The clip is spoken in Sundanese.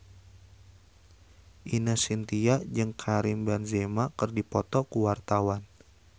Ine Shintya jeung Karim Benzema keur dipoto ku wartawan